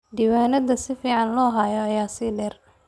Diiwaanada si fiican loo hayo ayaa sii dheer.